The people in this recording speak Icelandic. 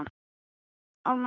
Því miður er það ekki óalgengt.